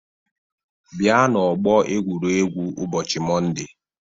Bịa n'ọgbọ egwuregwu ụbọchị Mọnde!